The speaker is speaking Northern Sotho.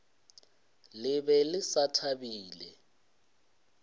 le be le sa thabile